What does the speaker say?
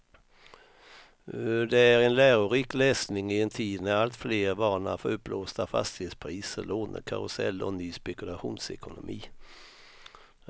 Det är en lärorik läsning i en tid när alltfler varnar för uppblåsta fastighetspriser, lånekarusell och ny spekulationsekonomi.